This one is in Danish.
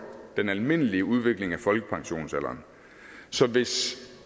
den almindelige udvikling af folkepensionsalderen så hvis